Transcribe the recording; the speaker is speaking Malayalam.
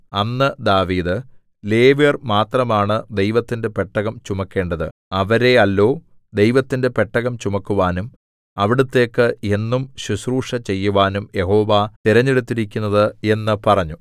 അന്ന് ദാവീദ് ലേവ്യർ മാത്രമാണ് ദൈവത്തിന്റെ പെട്ടകം ചുമക്കേണ്ടത് അവരെയല്ലോ ദൈവത്തിന്റെ പെട്ടകം ചുമക്കുവാനും അവിടുത്തേക്ക് എന്നും ശുശ്രൂഷ ചെയ്യുവാനും യഹോവ തിരഞ്ഞെടുത്തിരിക്കുന്നത് എന്ന് പറഞ്ഞു